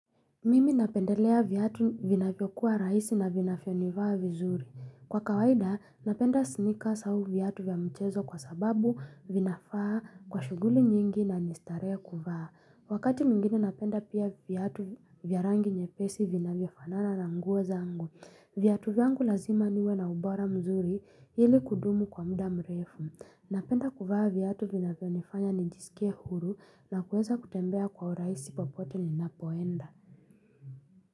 Mimi napendelea viatu vinavyokuwa rahisi na vinavyo nivaa vizuri. Kwa kawaida, napenda snikas au viatu vya michezo kwa sababu vinafaa kwa shughuli nyingi na ni starehe kuvaa. Wakati mwingine napenda pia viatu vya rangi nyepesi vinavyo fanana na nguo zangu. Viatu vyangu lazima niwe na ubora mzuri, ili kudumu kwa mda mrefu. Napenda kuvaa viatu vinavyonifanya nijisikie huru na kuweza kutembea kwa urahisi popote ninapoenda.